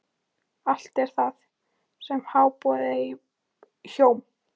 Allt er það sem háborið hjóm.